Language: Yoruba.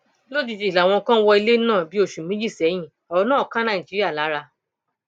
lójijì làwọn kan wọ ilẹ náà ní bíi oṣù méjì sẹyìn ọrọ náà ká nàìjíríà lára